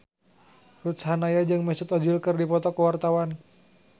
Ruth Sahanaya jeung Mesut Ozil keur dipoto ku wartawan